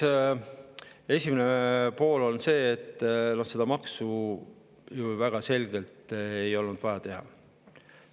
No esimene pool on see, et seda maksu ju väga selgelt ei olnud vaja teha.